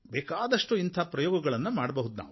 ಬೇಕಾದಷ್ಟು ಇಂಥ ಪ್ರಯೋಗಗಳನ್ನು ಮಾಡಬಹುದು